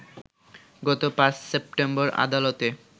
গত ৫ সেপ্টেম্বর আদালতে